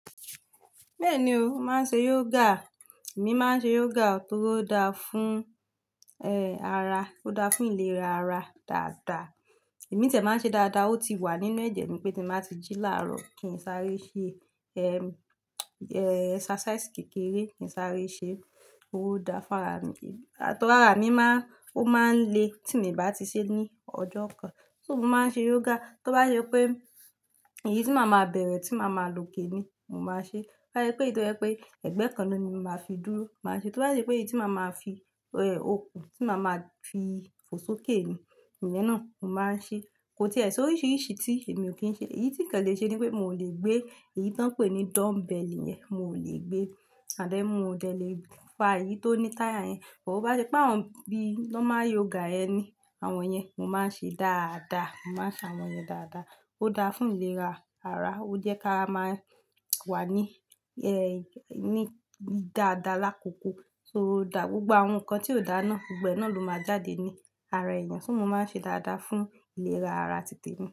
Bẹ́ẹ̀ni o, màá n ṣe yoga. Èmi máa ń ṣe yoga torí ó dáa fún, e ara, ó dáa fún ìlera ara dáadáa. Ẹ̀mí tẹ̀ máa ń ṣe dáadáa, ó ti wà nínú ẹ̀jẹ̀ mi pé tí màá ti jí láàárọ̀ kí n sáré ṣe, eh, exercise kékeré kí n sáré ṣe, ó dáa fún ara mi. To ri árà mi máa, ó máa ń le tí mo bá ti ṣe ní ọjọ́ kan. So mo máa ń ṣe yoga. Tí ó bá ṣe pé èyí tí màá máa bẹ̀rẹ̀ tí màá máa lòkè ni, mo máa ṣe. Ti o ba je pé èyí tó jẹ́ pé ẹ̀gbẹ́ kan ni màá fi dúró, màá ṣe. Tí ó bá ṣe pé èyí tí màá máa fi, eh, okùn, tí màá máa fi fò sókè ni, ìyẹn náà mo máa ń ṣe. Kò tí ẹ̀, so oríṣiríṣi tí e mi ò kí ń ṣe. Èyí tí kàn le ṣe ni pé mi ò lè gbé èyí tó ń pè ní dumbbell yẹn, mi ò lè gbé. Mi ọ dẹ̀, le fà èyí tó ní tyre yẹn. Bo bá ṣe pé àwọn bí lọ́ máa ń yoga ẹni, àwọn yẹn mo máa ń ṣe dáadáa. Mo máa ń ṣe àwọn yẹn dáadáa. Ó dáa fún ìlera ara. Ó jẹ́ ká máa wà ní, eh, ní dáadáa lákòókò. Ó dáa. Gbgbo àwọn nǹkan tí ò dáa náà, gbogbo e náà ló máa jáde ní ara èèyàn. So mo máa ń ṣe dáadáa fún ìlera ara tìtẹ́ mi.